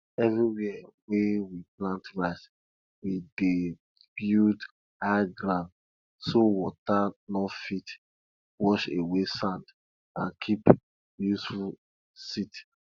everywhere wey we plant rice we dey build high grounds so water no fit wash away sand and keep useful silt